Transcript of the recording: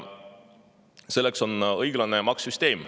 Selleks on ka õiglane maksusüsteem.